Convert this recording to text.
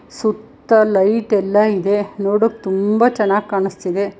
ತುತ್ತ ಲೈಟ್ ಎಲ್ಲಾ ಇದೆ ನೋಡೋಕೆ ತುಂಬಾ ಚೆನ್ನಾಗ್ ಕಾಣಸ್ತಿದೆ.